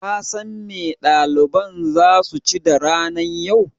Kasan me ɗaliban zasu ci da ranan yau?